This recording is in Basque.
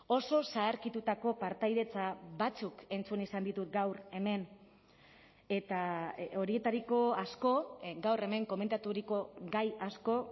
oso zaharkitutako partaidetza batzuk entzun izan ditut gaur hemen eta horietariko asko gaur hemen komentaturiko gai asko